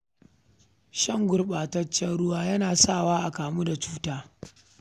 Shan gurɓataccen ruwa yana sa wa a kamu da cuta